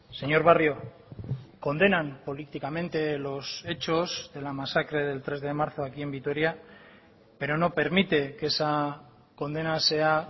señor barrio condenan políticamente los hechos de la masacre del tres de marzo aquí en vitoria pero no permite que esa condena sea